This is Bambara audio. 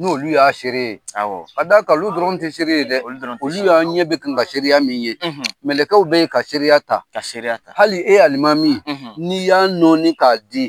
N'olu y'a seere ye; Awɔ; Ka da ka olu dɔrɔn tɛ seere ye dɛ; Olu dɔrɔn tɛ se Olu y' an ɲɛ bɛ ka kan seereya min ye; Mɛlɛkɛw bɛ ka se ta; Ka seereya ta; Hali e Alimami; N'i y' nɔɔni k'a di;